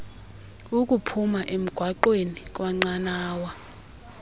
ukuphuma emgaqweni kwnqanawa